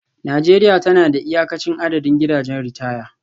Najeriya tana da iyakacin adadin gidajen ritaya